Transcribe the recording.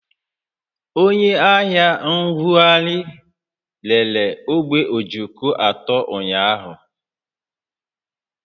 Onye ahịa ṅṅụgharị rere ogbe ojoko atọ ụnyaahụ